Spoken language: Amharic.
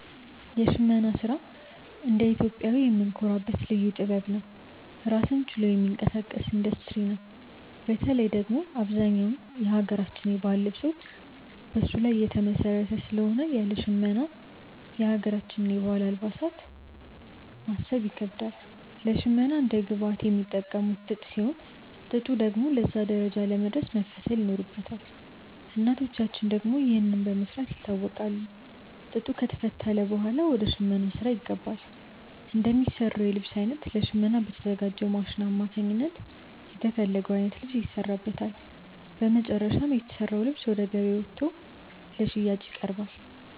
የሽመና ስራ እንደ ኢትዮጵያዊ የምንኮራበት ልዩ ጥበብ ነው። ራሱን ችሎ የሚንቀሳቀስ ኢንዱስትሪ ነው። በተለይ ደግሞ አብዛኛው የሀገራችን የባህል ልብሶች በሱ ላይ የተመሰረተ ስለሆነ ያለ ሽመና የሀገራችንን የባህል አልባሳት ማሰብ ይከብዳል። ለሽመና እንደ ግብአት የሚጠቀሙት ጥጥ ሲሆን፣ ጥጡ ደግሞ ለዛ ደረጃ ለመድረስ መፈተል ይኖርበታል። እናቶቻችን ደግሞ ይህንን በመስራት ይታወቃሉ። ጥጡ ከተፈተለ ብኋላ ወደ ሽመናው ስራ ይገባል። እንደሚሰራው የልብስ አይነት ለሽመና በተዘጋጅው ማሽን አማካኝነት የተፈለገው አይነት ልብስ ይሰራበታል። በመጨረሻም የተሰራው ልብስ ወደ ገበያ ወጥቶ ለሽያጭ ይቀርባል።